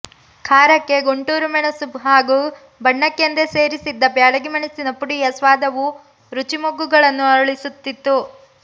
ಖಾರಕ್ಕೆ ಗುಂಟೂರು ಮೆಣಸು ಹಾಗೂ ಬಣ್ಣಕ್ಕೆಂದೇ ಸೇರಿಸಿದ್ದ ಬ್ಯಾಡಗಿ ಮೆಣಸಿನ ಪುಡಿಯ ಸ್ವಾದವು ರುಚಿಮೊಗ್ಗುಗಳನ್ನು ಅರಳಿಸುತ್ತಿತ್ತು